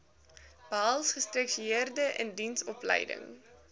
behels gestruktureerde indiensopleiding